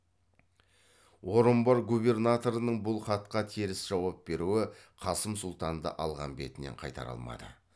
орынбор губернаторының бұл хатқа теріс жауап беруі қасым сұлтанды алған бетінен қайтара алмады